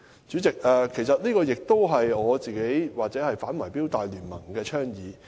主席，這亦是我本人或"全港業主反貪腐反圍標大聯盟"的倡議。